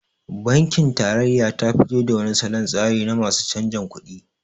Bankin tarayya tafi to da wani solon tsari na masu canjin kuɗi